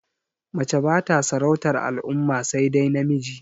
Mace bata sarautar al'umma sai dai namiji